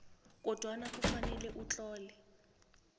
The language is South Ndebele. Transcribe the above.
kodwana kufanele utlole